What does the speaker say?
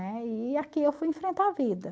Né? E aqui eu fui enfrentar a vida.